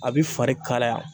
A bi fari kalaya.